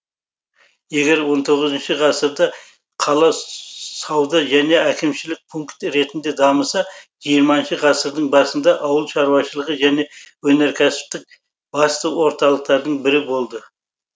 егер он тоғызыншы ғасырда қала сауда және әкімшілік пункт ретінде дамыса жиырмасыншы ғасырдың басында ауыл шаруашылығы және өнеркәсіптік басты орталықтарының бірі болды